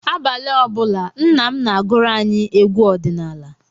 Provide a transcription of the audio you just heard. Abalị ọ bụla, nna m na-agụrụ anyị egwu ọdịnala.